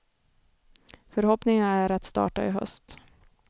Förhoppningen är att starta i höst.